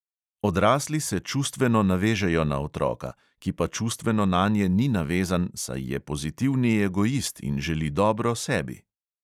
Odrasli se čustveno navežejo na otroka, ki pa čustveno nanje ni navezan, saj je pozitivni egoist in želi dobro sebi.